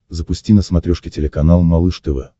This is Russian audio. запусти на смотрешке телеканал малыш тв